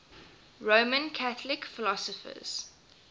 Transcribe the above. roman catholic philosophers